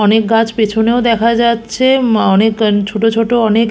অনেক গাছ পেছনেও দেখা যাচ্ছে মা অনেক কা ছোট ছোট অনেক--